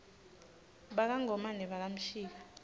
baka ngomane baka mshika